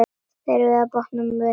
Þeir velta bátnum við.